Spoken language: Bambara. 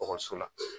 ekɔliso la